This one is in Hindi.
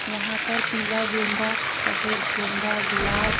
यहां पर पीला गेंदा सफेद गेंदा गुलाब --